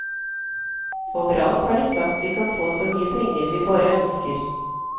Overalt har de sagt vi kan få så mye penger vi bare ønsker.